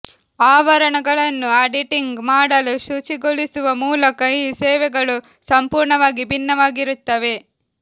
ಆವರಣಗಳನ್ನು auditing ಮಾಡಲು ಶುಚಿಗೊಳಿಸುವ ಮೂಲಕ ಈ ಸೇವೆಗಳು ಸಂಪೂರ್ಣವಾಗಿ ಭಿನ್ನವಾಗಿರುತ್ತವೆ